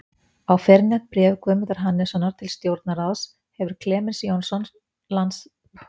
Á fyrrnefnt bréf Guðmundar Hannessonar til Stjórnarráðsins hefur Klemens Jónsson, landritari, krotað, að áætlun